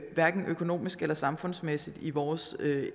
hverken økonomisk eller samfundsmæssigt i vores